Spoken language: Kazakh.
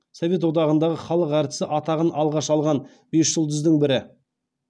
совет одағындағы халық әртісі атағын алғаш алған бес жұлдыздың бірі